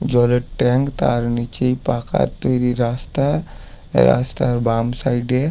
জলের ট্যাঙ্ক তার নিচেই পাকা তৈরি রাস্তা রাস্তার বাম সাইড -এ--